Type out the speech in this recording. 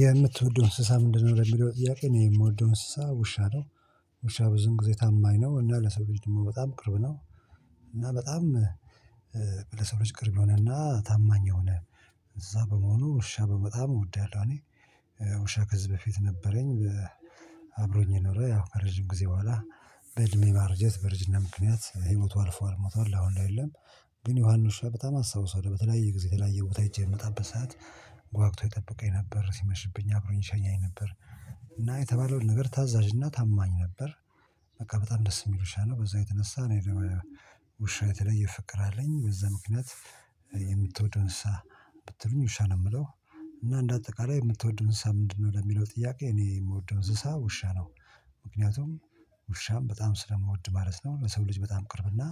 የምትወደው እንስሳ ምንድነው? የሚለው ጥያቄ የምወደው እንስሳ ውሻ ነው። ውሻ ብዙን ጊዜ ታማኝ ነው እና ለሰው ልጅ ደግሞ በጣም ቅርብ ነው። እና በጣም ለሰው ልጅ ቅርብ ሆነና ታማኝ ሆነ። እንሰሳ በመሆኑ ውሻ በጣም እወዳለሁ እኔ። ውሻ ከዚህ በፊት ነበረኝ። አብሮኝ የኖረ ያው ከረጅም ጊዜ በኋላ በእድሜ ማርጀት በርጅና ምክንያት ህይወቱ አልፏል ሞቷል አሁን ላይ የለም። ግን ያን ውሻ በጣም አስታውሰው በተለያየ ጊዜ የተለያየ ቦታ ሄጀ በምመጣበት ሰዓት። ጓግቶ ይጠብቀኝ ነበር ሲመሽብኝ አብሮኝ ይሸኘኝ ነበር። እና የተባለውን ነገር ታዛዥና ታማኝ ነበር። በቃ በጣም ደስ የሚሉሻ ነው በዛ የተነሳ ነው። ውሻ የተለየ ፍቅር አለኝ በዛ ምክንያት። የምትወደው እንሰሳ ብትሉኝ ውሻ ነው የምለው። እና እንደ አጠቃላይ የምትወደውን እሳ ምንድነው? ለሚለው ጥያቄ እኔ የምወደው እሳ ውሻ ነው። ምክንያቱም ውሻም በጣም ስለምወድ ማለት ነው። ለሰው ልጅ በጣም ቅርብና